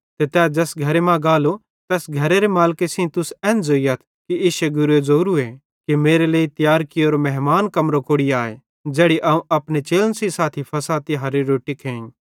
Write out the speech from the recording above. ते तै ज़ैस घरे मां गालो तैस घरेरे मालिके सेइं तुस एन ज़ोइयथ कि इश्शे गुरे ज़ोवरूए कि मेरे लेइ तियार कियोरो मेहमान कमरो कोड़ि आए ज़ेड़ी अवं अपने चेलन सेइं साथी फ़सह तिहारेरी रोट्टी खेइ